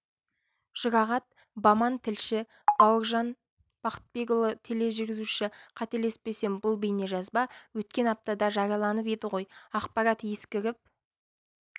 жұрағат баман тілші бауыржан бақытбекұлы тележүргізуші қателеспесем бұл бейнежазба өткен аптада жарияланып еді ғой ақпарат ескіріп